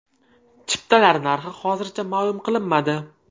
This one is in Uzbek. Chiptalar narxi hozircha ma’lum qilinmadi.